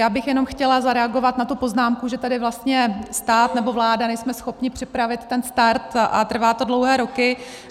Já bych jenom chtěla zareagovat na tu poznámku, že tady vlastně stát, nebo vláda, nejsme schopni připravit ten start a trvá to dlouhé roky.